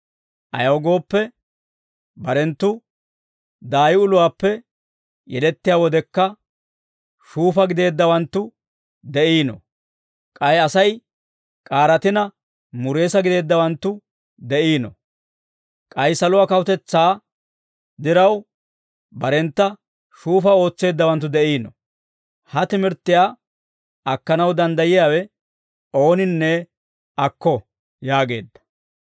ayaw gooppe, barenttu daay uluwaappe yelettiyaa wodekka, shuufa gideeddawanttu de'iino; k'ay Asay k'aaratina mureesa gideeddawanttu de'iino; k'ay saluwaa kawutetsaa diraw, barentta shuufa ootseeddawanttu de'iino; ha timirttiyaa akkanaw danddayiyaawe ooninne akko» yaageedda.